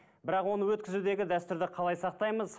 бірақ оны өткізудегі дәстүрді қалай сақтаймыз